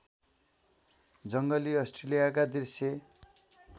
जङ्गली अस्ट्रेलियाका दृश्य